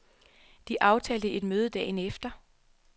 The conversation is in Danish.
De aftalte et møde dagen efter.